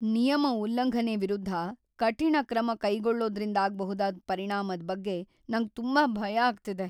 ನಿಯಮ ಉಲ್ಲಂಘನೆ ವಿರುದ್ಧ ಕಠಿಣ ಕ್ರಮ ಕೈಗೊಳ್ಳೋದ್ರಿಂದಾಗ್ಬಹುದಾದ್ ಪರಿಣಾಮದ್ ಬಗ್ಗೆ ನಂಗ್ ತುಂಬಾ ಭಯ ಆಗ್ತಿದೆ.